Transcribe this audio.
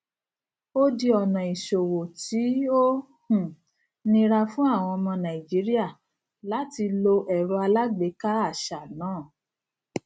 ó di ọnà ìṣòwò tí ó um nira fún àwọn ọmọ nàìjíríà láti lo ẹrọ alágbèéká àṣà náà